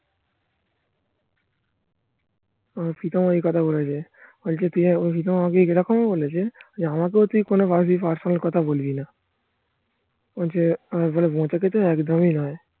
প্রীতম এই কথা বলেছে. বলছে তুই আমাকে প্রীতম আমাকে এরকমি বলেছে. যে আমাকেও তুই কোনো বারতি personal কথা বলবি না একদমই নয়